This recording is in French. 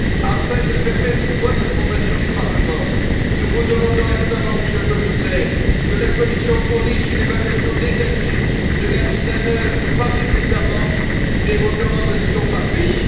Afin de permettre une bonne information du Parlement, nous vous demandons instamment, Monsieur le Commissaire, que la Commission fournisse une évaluation détaillée de la mise en œuvre, par les États membres, des recommandations par pays.